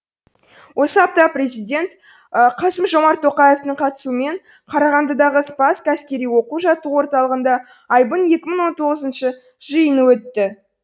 осы апта президент қасым жомарт тоқаевтың қатысуымен қарағандыдағы спасск әскери оқу жаттығу орталығында айбын екі мың он тоғызыншы жиыны өтті